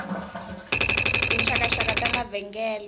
tinxakanxaka ta mavengele